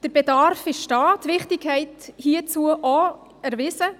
Der Bedarf ist da, die Wichtigkeit hierzu auch erwiesen.